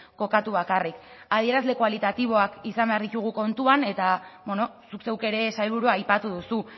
kokatu bakarrik adierazle kualitatiboak izan behar ditugu kontuan eta bueno zuk zeuk ere sailburu aipatu duzu